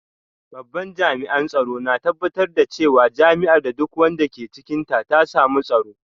Babban jami’an tsaro na tabbatar da cewa jami’ar da duk wanda ke cikinta ta samu tsaro